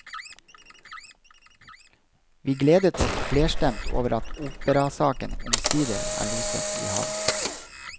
Vi gledet oss flerstemt over at operasaken omsider er loset i havn.